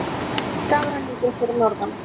Mikill skafrenningur fyrir norðan